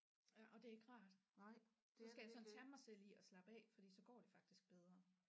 Øh og det er ikke rart så skal jeg sådan tage mig selv i at slappe af fordi så går det faktisk bedre